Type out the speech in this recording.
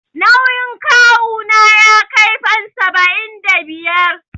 Nauyin kawu na ya kai fam saba'in da biyar.